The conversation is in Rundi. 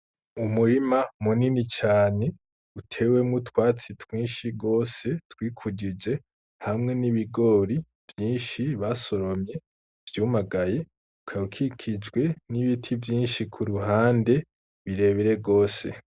Umurima munini cane utewemwo utwatsi twinshi rwose twikujije hamwe n'ibigori vyinshi basoromye vyumagaye kakikijwe n'ibiti vyinshi ku ruhande birebere rwose.